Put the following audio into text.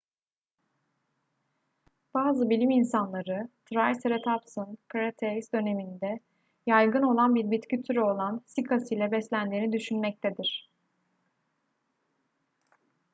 bazı bilim insanları triceratopsun kretase döneminde yaygın olan bir bitki türü olan sikas ile beslendiğini düşünmektedir